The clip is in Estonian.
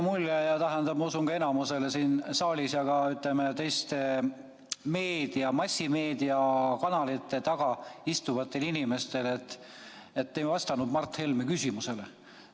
Mulle igatahes ja ma usun, et ka enamikule siin saalis, samuti teistele, ütleme, massimeediakanalite taga istuvatele inimestele jäi selline mulje, et te ei vastanud Mart Helme küsimusele.